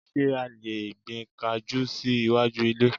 Ṣé a lè gbin kajú sí iwájú ilé?